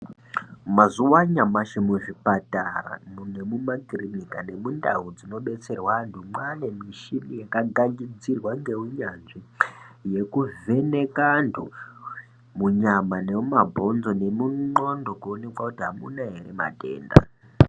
Mazuva anyashi muzvipatara, nemuma clinic nemundau dzinodetserwa antu mwaane michini yakagadzirwa ngeunyanzvi yekuvheneka antu munyama nemuma bhonzo nemunwondo kuoneka kuti amuna here matenda.